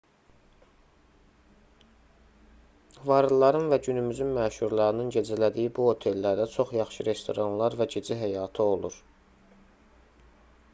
varlıların və günümüzün məşhurlarının gecələdiyi bu otellərdə çox yaxşı restoranlar və gecə həyatı olur